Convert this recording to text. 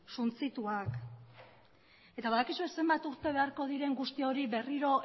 suntsituak eta badakizue zenbat urte beharko diren guzti hori berriro